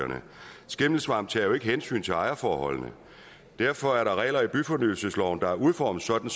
skimmelsvamp tager jo ikke hensyn til ejerforholdene derfor er der regler i byfornyelsesloven der er udformet sådan